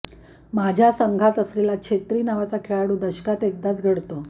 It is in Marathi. माझ्या संघात असलेला छेत्री नावाचा खेळाडू दशकात एकदाच घडतो